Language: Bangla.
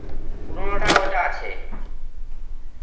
পুরনোটা, ওটা আছে.